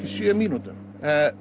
sjö mínútum